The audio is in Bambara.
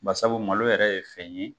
Basabu malo yɛrɛ ye fɛn ye.